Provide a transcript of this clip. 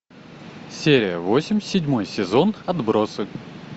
серия восемь седьмой сезон отбросы